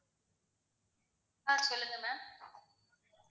ஆஹ் சொல்லுங்க ma'am